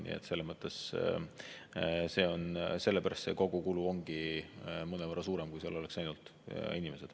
Nii et sellepärast ongi kogukulu mõnevõrra suurem, kui seal oleks ainult inimesed.